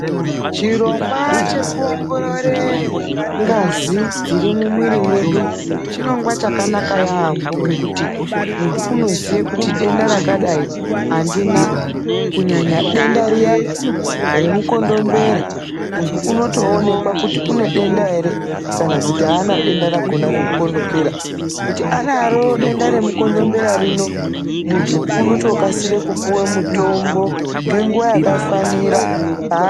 Chirongwa chekuongororore ngazi dziri mumwiri mwedu chirongwa chakanaka yaambo ngekuti muntu unoziye kuti denda rakadai andina. Kunyanya denda riya remukondombera, muntu unotoonekwa kuti une denda ere kana kuti haana denda rakona remukomdombera. Kuti anaro denda remukondombera rino, muntu unotokasire kupiwe mitombo ngenguwa yakafanira.